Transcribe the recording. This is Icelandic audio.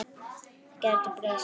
Það gæti breyst.